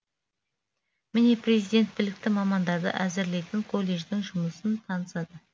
міне президент білікті мамандарды әзірлейтін колледждің жұмысын танысады